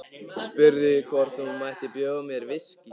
Spurði hvort hún mætti bjóða mér viskí.